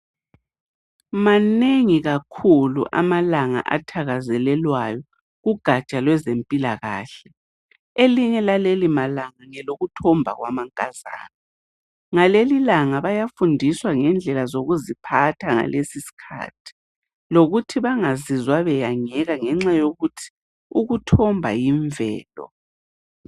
Manengi kakhulu amalanga athakazelelwayo kugatsha lwezempilakahle elinye lalelimalanga ngelokuthomba kwabankazana ngalelilanga bayafundiswa ngendlela zokuziphatha ngalesiskathi lokuthi bangazizwa beyangeka ngenxa yokuthi ukuthomba yimvelo.